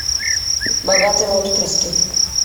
богатые отпрыски